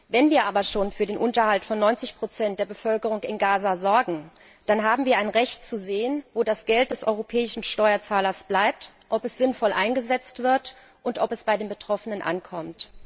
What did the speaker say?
Wenn wir aber schon für den Unterhalt von 90 der Bevölkerung in Gaza sorgen, dann haben wir ein Recht, zu sehen, wo das Geld des europäischen Steuerzahlers bleibt, ob es sinnvoll eingesetzt wird und ob es bei den Betroffenen ankommt